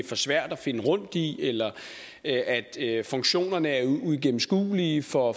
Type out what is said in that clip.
for svært at finde rundt i eller at funktionerne er uigennemskuelige for